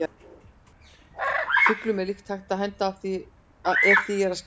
Fuglum er líka hægt að henda ef því er að skipta.